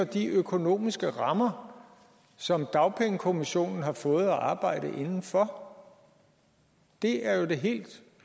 de økonomiske rammer som dagpengekommissionen har fået at arbejde inden for det er jo det helt